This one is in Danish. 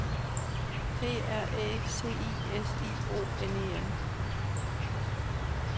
P R Æ C I S I O N E N